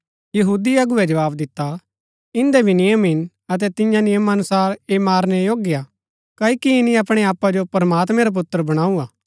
यहूदी अगुवै जवाव दिता इन्दै भी नियम हिन अतै तियां नियमा अनुसार ऐह मारनै योग्य हा क्ओकि ईनी अपणै आपा जो प्रमात्मैं रा पुत्र बणाऊँ हा